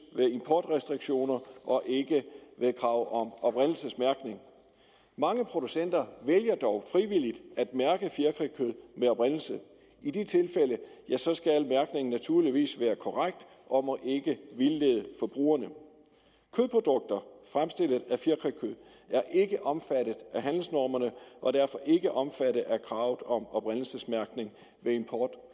ved importrestriktioner og ikke ved krav om oprindelsesmærkning mange producenter vælger dog frivilligt at mærke fjerkrækød med oprindelse i de tilfælde skal al mærkning naturligvis være korrekt og må ikke vildlede forbrugerne kødprodukter fremstillet af fjerkrækød er ikke omfattet af handelsnormerne og derfor ikke omfattet af kravet om oprindelsesmærkning ved import